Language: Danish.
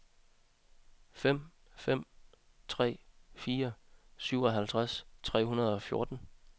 fem fem tre fire syvoghalvtreds tre hundrede og fjorten